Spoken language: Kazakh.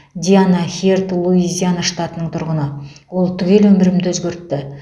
диана херд луизиана штатының тұрғыны ол түгел өмірімді өзгертті